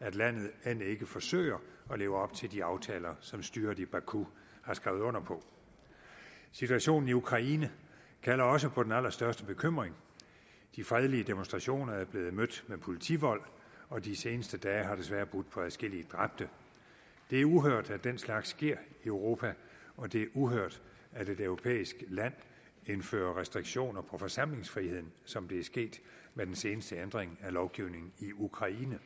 at landet end ikke forsøger at leve op til de aftaler som styret i baku har skrevet under på situationen i ukraine kalder også på den allerstørste bekymring de fredelige demonstrationer er blevet mødt med politivold og de seneste dage har desværre budt på adskillige dræbte det er uhørt at den slags sker i europa og det er uhørt at et europæisk land indfører restriktioner på forsamlingsfriheden som det er sket med den seneste ændring af lovgivningen i ukraine